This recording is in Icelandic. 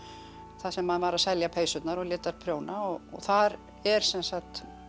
þar sem hann var að selja peysurnar og lét þær prjóna og þar er sem sagt